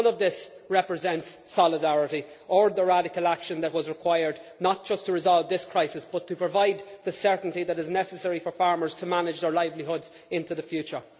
None of this represents solidarity or the radical action that was required not just to resolve this crisis, but to provide the certainty that is necessary for farmers to manage their livelihoods into the future.